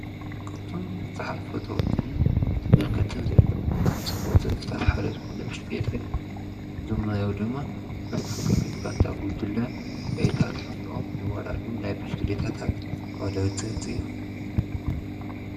ካብቶም ቡዙሓት ፈተዉትን ተመልከትን ዘለዉዎ ናይ ስፖርት ዘርፍታት ሓደ ዝኾነ ዉድድር ብሽክሌታ እዩ። ዞም ንሪኦም ድማ ኣብ ሃገራዊት ጋንታ ጉጅለ ብሽክሌታ ተሓፊቆም ዝወዳደሩ ናይ ብሽክሌታታት ተወዳደርቲ እዮም።